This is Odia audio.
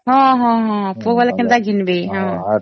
ହଁ ହଁ ହଁ ପୋକ ବାହାରିଲେ କେନ୍ତା ଘିନିବେ